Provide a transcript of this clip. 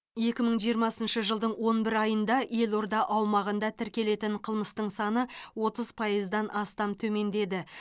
екі мың жиырмасыншы жылдың он бір айында елорда аумағында тіркелетін қылмыстың саны отыз пайыздан астам төмендеді